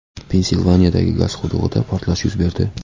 Pensilvaniyadagi gaz qudug‘ida portlash yuz berdi.